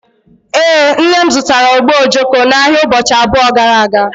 Ee, nne m zụtara ogbe ojoko n'ahịa ụbọchị abụọ gara aga